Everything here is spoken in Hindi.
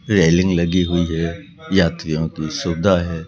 रेलिंग लगी हुई है यात्रियों की सुविधा है।